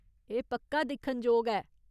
एह् पक्का दिक्खनजोग ऐ।